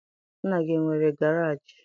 Nna gị enwere garaajị?